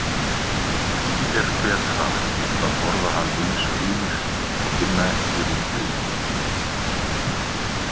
Því er betra að borða hann eins og hinir og finna ekki ódauninn.